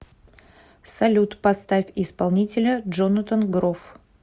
салют поставь исполнителя джонатан гроф